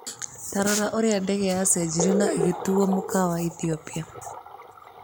Tarora ũrĩa ndege yacenjirĩo na ĩgĩtuo mũkawa Ethĩopia.